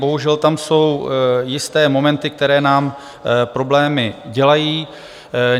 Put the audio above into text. Bohužel tam jsou jisté momenty, které nám problémy dělají.